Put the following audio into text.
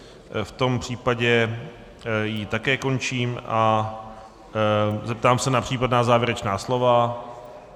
V tom případě ji také končím a zeptám se na případná závěrečná slova.